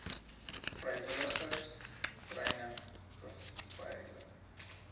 vrywilligers treine beveilig